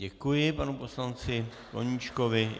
Děkuji panu poslanci Koníčkovi.